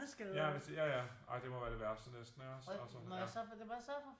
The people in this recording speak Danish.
Ja hvis de ja ja ej det må være det værste næsten ikke også altså